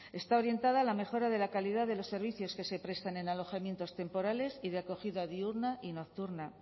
está orientada a la mejora de la calidad de los servicios que se prestan en alojamientos temporales y de acogida diurna y nocturna